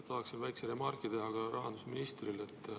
Tahaksin öelda väikese remargi ka rahandusministrile.